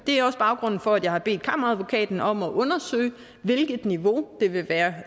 er også baggrunden for at jeg har bedt kammeradvokaten om at undersøge hvilket niveau det vil være